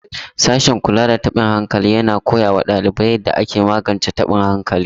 Sashen kula da tabin hankali yana koya wa ɗalibai yadda ake magance taɓin hankali.